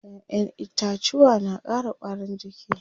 Ƴaƴen itacuwa na ƙara ƙwarin jiki.